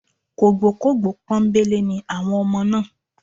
Kògbókògbó pọ́nńbélé ni àwọn ọmọ náà